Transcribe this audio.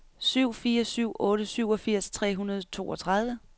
syv fire syv otte syvogfirs tre hundrede og toogtredive